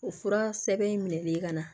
O fura sɛbɛn in minɛli ye ka na